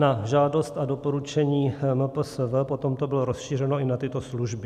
Na žádost a doporučení MPSV potom to bylo rozšířeno i na tyto služby.